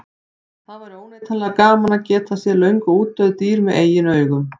Það væri óneitanlega gaman að geta séð löngu útdauð dýr með eigin augum.